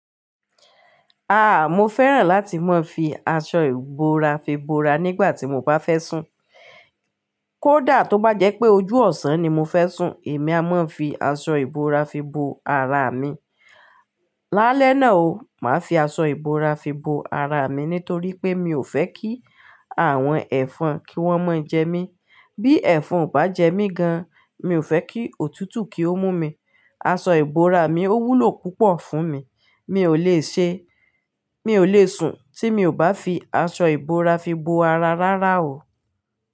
Ah, mo fẹ́ràn láti máa fi aṣọ ìbora fi bora nígbà tí mo bá fẹ́ sùn. Kódà tó bá jẹ́ pé ojú ọ̀sán ni mo fẹ́ sùn, èmi a máa fi aṣọ ìbora fi bo ara mi. Lálẹ́ náà o, màá fi aṣọ ìbora fi bo ara mi nítorí pé mi ò fẹ́ kí àwọn ẹ̀fọn kí wọ́n máa jẹ mí. Bí ẹ̀fọn ò bá jẹ mí gan, mi ò fẹ́ kí òtútù kí ó mú mi. Aṣọ ìbora mi ó wúlò púpọ̀ fún mi. Mi ò le ṣe, mi ò le sùn tí mi ò bá fi aṣọ ìbora fi bo ara rárá o.